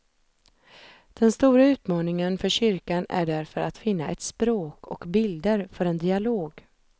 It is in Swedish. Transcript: Den stora utmaningen för kyrkan är därför att finna ett språk och bilder för en dialog.